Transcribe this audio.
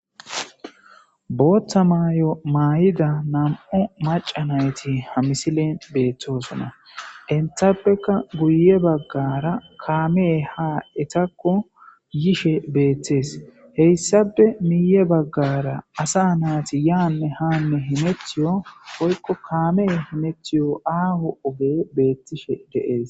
bootta maayo maay7ida nam7u macanayti ha misilen beettoosana intappeka guye baggara kaamee ha etakko yishe beettees heyssape miye baggara asa naati yaanne haanne himethiyo hoykko kaamee himethiyo aaho oge beettishe deees